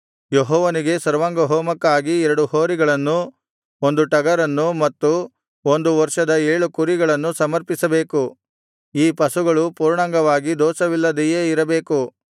ಯೆಹೋವನಿಗೆ ಸರ್ವಾಂಗಹೋಮಕ್ಕಾಗಿ ಎರಡು ಹೋರಿಗಳನ್ನೂ ಒಂದು ಟಗರನ್ನೂ ಮತ್ತು ಒಂದು ವರ್ಷದ ಏಳು ಕುರಿಗಳನ್ನೂ ಸಮರ್ಪಿಸಬೇಕು ಈ ಪಶುಗಳೂ ಪೂರ್ಣಾಂಗವಾಗಿ ದೋಷವಿಲ್ಲದೆಯೇ ಇರಬೇಕು